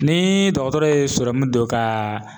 Ni dɔgɔtɔrɔ ye sɔrɔmu dɔ ka